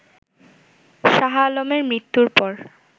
শাহআলমের মৃত্যুর পর